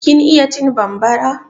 Kin iya cin bambara?